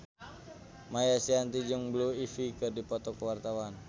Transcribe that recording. Maia Estianty jeung Blue Ivy keur dipoto ku wartawan